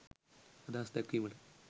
අදහස් දැක්වීමට